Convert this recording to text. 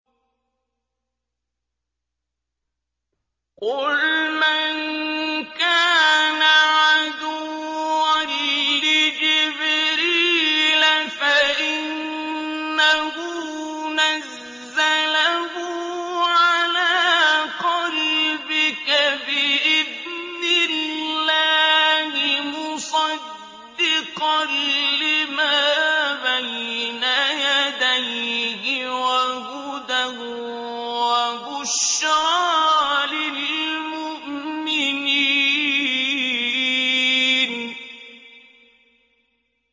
قُلْ مَن كَانَ عَدُوًّا لِّجِبْرِيلَ فَإِنَّهُ نَزَّلَهُ عَلَىٰ قَلْبِكَ بِإِذْنِ اللَّهِ مُصَدِّقًا لِّمَا بَيْنَ يَدَيْهِ وَهُدًى وَبُشْرَىٰ لِلْمُؤْمِنِينَ